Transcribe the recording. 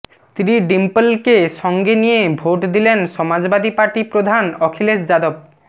স্ত্রী ডিম্পলকে সঙ্গে নিয়ে ভোট দিলেন সমাজবাদী পার্টি প্রধান অখিলেশ যাদব